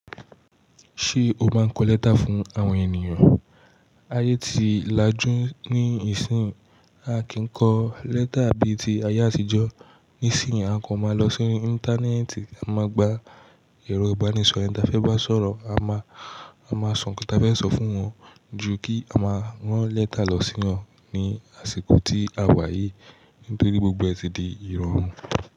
Ṣé o máa ń kọ lẹ́tà fún àwọn ènìyàn? Ayé ti lajú níìsín, a kì í kọ lẹ́tà bí ti ayé àtijọ́. Nísìínyi, à kan máa lọ sori Íńtánẹ́ẹ̀tì, a máa gba ẹ̀rọ ìbánisọ̀rọ̀ ẹ̀ni ta fẹ́ bá sọ̀rọ̀, a máa, a máa sọ nǹkan tí a fẹ́ sọ fún wọn ju kí a máa rán lẹ́tà lọ sí wọn ní àsìkò tí a wà yìí, nítorí gbogbo ẹ̀ ti di ìrọ̀rùn.